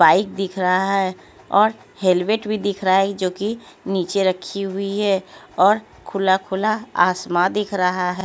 Bike दिख रहा है और हेलमेट भी दिख रहा है जो कि नीचे रखी हुई है और खुला खुला आसमा दिख रहा है।